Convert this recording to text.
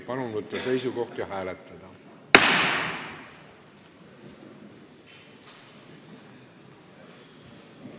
Palun võtta seisukoht ja hääletada!